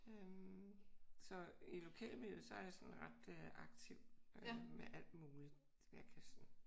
Så i lokalmiljøet så er jeg sådan ret aktiv med alt muligt jeg kan sådan